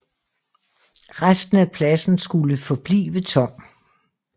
Resten af pladsen skulle forblive tom